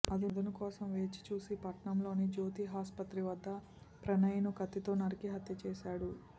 అదును కోసం వేచి చూసి పట్టణంలోని జ్యోతి ఆసుపత్రి వద్ద ప్రణయ్ను కత్తితో నరికి హత్య చేశాడు